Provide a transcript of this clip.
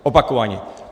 Opakovaně!